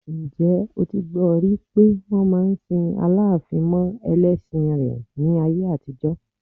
Ǹjẹ́ o ti gbọ rí pé wọ́n máa ń sin Aláàfin mọ ẹlẹ́ṣin rẹ̀ ni ní ayé àtijọ́?